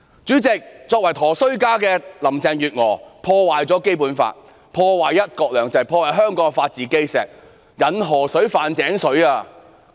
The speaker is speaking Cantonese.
主席，"佗衰家"的林鄭月娥破壞《基本法》、"一國兩制"和香港的法治基石，引河水犯井水。